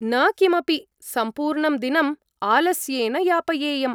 न किमपि, सम्पूर्णं दिनम् आलस्येन यापयेयम्।